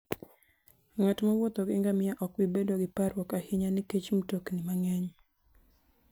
Ng'at mowuotho gi ngamia ok bi bedo gi parruok ahinya nikech mtokni mang'eny.